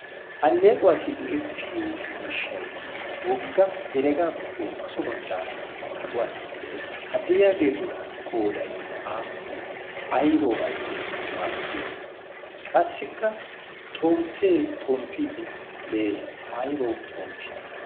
alleequwaassi go'ettiyo miishshai wogga heregaappe so baggaara kaquwan de'ees ha dayiyaageetu qooday aappunee aybawu aybayu maaddiyoona qassikka xomppee xomppiiddi de'ees aybawu xomppii